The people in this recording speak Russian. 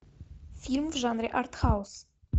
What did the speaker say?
фильм в жанре артхаус